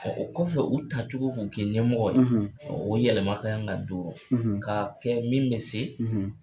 Ɔ o kɔfɛ u tacogo k'u kɛ ɲɛmɔgɔ ye ɔ o yɛlɛma kan ka don k'a kɛ min bɛ se